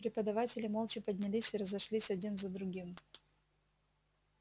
преподаватели молча поднялись и разошлись один за другим